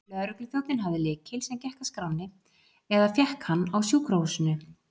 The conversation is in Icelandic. Lögregluþjónninn hafði lykil, sem gekk að skránni, eða fékk hann á sjúkrahúsinu.